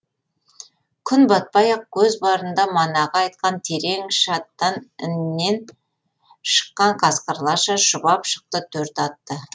күн батпай ақ көз барында манағы айтқан терең шаттан іннен шыққан қасқырларша шұбап шықты төрт атты